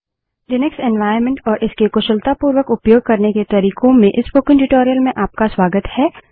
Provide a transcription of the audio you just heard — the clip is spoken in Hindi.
लिनक्स एन्वाइरन्मेंट और इसके कुशलतापूर्वक उपयोग करने के तरिकों में इस स्पोकन ट्यूटोरियल में आपका स्वागत है